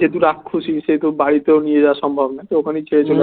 যেহেতু রাক্ষুসী বাড়িতেও নিয়ে যাওয়া সম্ভব না তো ওখানেই ছেড়ে চলে আসে